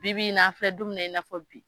Bibi i n'a an filɛ don min na in'a fɔ bi.